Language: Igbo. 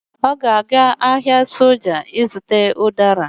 Ọ ga-aga ahịa soja ịzụta ụdara